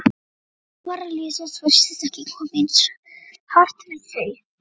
alvara lífsins virtist ekki koma eins hart við þau.